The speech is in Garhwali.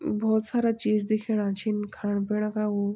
भौत सारा चीज दिखेणा छिन खाण पीणा का वु।